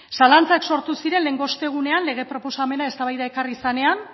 zalantzak sortu ziren lehengo ostegunean lege proposamena eztabaida ekarri zenean